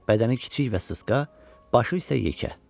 Bədəni kiçik və sısqa, başı isə yekə.